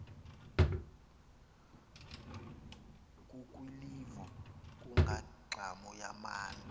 kukwilivo kungangxam yamntu